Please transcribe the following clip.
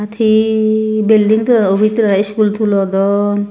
thiii belding tulo obij tulei school tulodon.